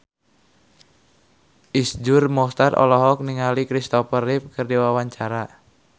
Iszur Muchtar olohok ningali Christopher Reeve keur diwawancara